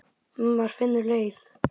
Maður finnur leið.